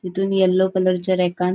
तीतुन येल्लो कलरच्या रेकान --